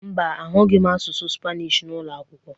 Mba, agụghị m asụsụ Spanish n’ụlọ akwụkwọ